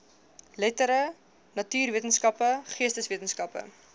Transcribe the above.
lettere natuurwetenskappe geesteswetenskappe